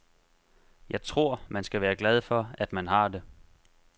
Jeg tror, man skal være glad for, at man har det.